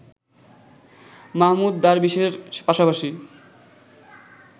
মাহমুদ দারবিশের পাশাপাশি